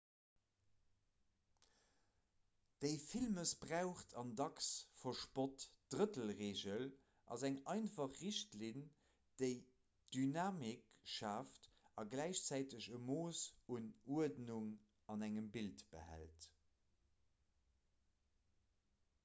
déi vill mëssbraucht an dacks verspott drëttel-reegel ass eng einfach richtlinn déi dynamik schaaft a gläichzäiteg e mooss un uerdnung an engem bild behält